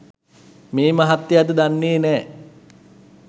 මේ මහත්තයාද දන්නෙ නෑ